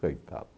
Coitado.